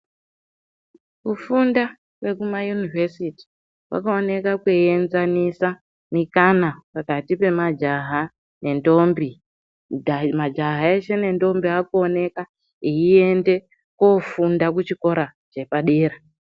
Kufunda kwekumayunivhesiti, kwakaoneka kweienzanisa mikana, pakati pemajaha nendombi ,kuti hayi majaha eshe nendombi aakuoneka eiende kofunda kuchikora chepadera.